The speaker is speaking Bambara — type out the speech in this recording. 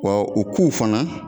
Wa u k'u fana